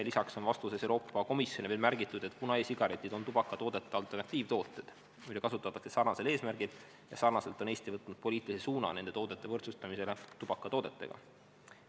Lisaks on vastuses Euroopa Komisjonile veel märgitud, et kuna e-sigaretid on tubakatoodete alternatiivtooted, mida kasutatakse sarnasel eesmärgil ja sarnaselt, on Eesti võtnud poliitilise suuna nende toodete võrdsustamisele tubakatoodetega.